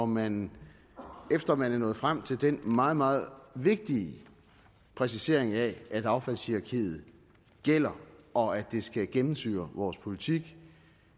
man efter at man er nået frem til den meget meget vigtige præcisering af at affaldshierarkiet gælder og at det skal gennemsyre vores politik